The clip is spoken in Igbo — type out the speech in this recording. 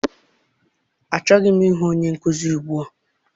Achọghị m ịhụ onye nkụzi ugbua.